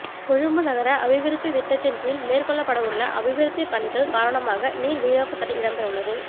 கொழும்பு நகர அபிவிருத்தி திட்டத்தின் கீழ் மேற்கொள்ளப்படவுள்ள அபிவிருத்தி பணிகள் காரணமாக நீர் விநியோத்தடை இடம்பெறவுள்ளது